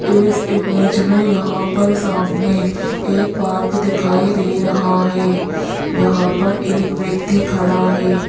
इस इमेज़ में यहां पर सामने एक पार्क दिखाई दे रहा है यहां पर एक व्यक्ति खड़ा है।